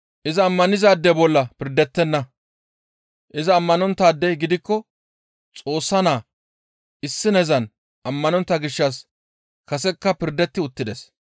«Iza ammanizaade bolla pirdettenna. Iza ammanonttaadey gidikko Xoossa Naa issinezan ammanontta gishshas kasekka pirdetti uttides.